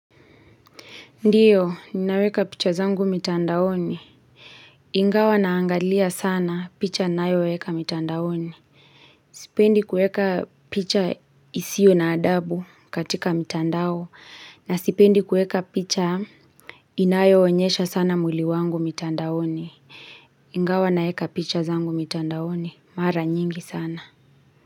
Ndiyo, ninaweka picha zangu mitandaoni. Ingawa naangalia sana picha ninayo weka mitandaoni. Sipendi kuweka picha isiyo na adabu katika mitandao. Nasipendi kuweka picha inayoonyesha sana mwili wangu mitandaoni. Ingawa naeka picha zangu mitandaoni. Mara nyingi sana.